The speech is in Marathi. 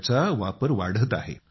त्याचा वापर वाढत आहे